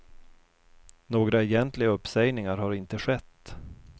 Några egentliga uppsägningar har inte skett.